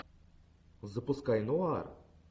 запускай нуар